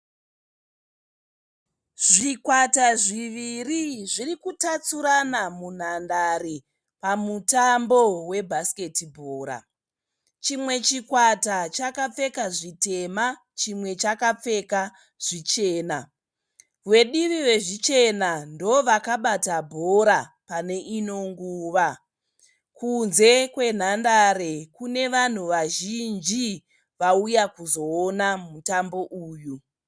Zvikwata zviviri zviri kutatsurana mundandare pamutambo webhasiketi bhora. Chimwe chikwata chakapfeka zvitema chimwe chakapfeka zvichena. Vedivi rezvichena ndovakabata bhora pane inonguva. Kunze kwenhandare kune vanhu vazhinji vauya kuzoona mutambo uyu.